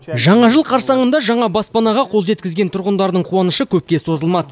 жаңа жыл қарсаңында жаңа баспанаға қол жеткізген тұрғындардың қуанышы көпке созылмады